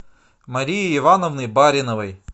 марии ивановны бариновой